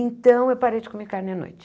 Então, eu parei de comer carne à noite.